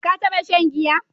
Ka taɓa shan giya?